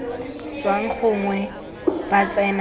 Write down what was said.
tswang gongwe ba tsena mo